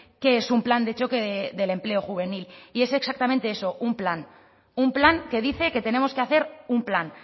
qué es un plan de choque del empleo juvenil y es exactamente eso un plan un plan que dice que tenemos que hacer un plan